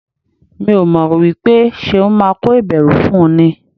Mi ò mọ̀ wípé Ṣeun máa kó ìbẹ̀rù fún ni.